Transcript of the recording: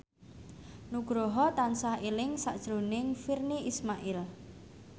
Nugroho tansah eling sakjroning Virnie Ismail